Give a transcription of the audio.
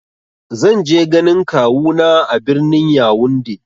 Zan je ganin kawu na a birnin "Younde "